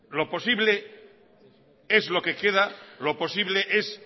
lo posible es lo que queda lo posible es